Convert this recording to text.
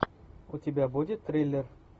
у тебя будет триллер